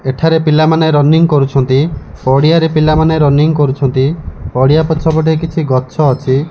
ଏଠାରେ ପିଲାମାନେ ରନିଙ୍ଗ କରୁଛନ୍ତି ପଡିଆରେ ପିଲାମାନେ ରନିଙ୍ଗ କରୁଛନ୍ତି ପଡିଆ ପଛପଟେ କିଛି ଗଛ ଅଛି।